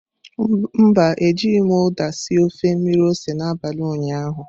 Mba, Ejighị m uda sie ofe mmiri ose n'abalị ụnyaahụ.